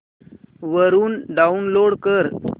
वरून डाऊनलोड कर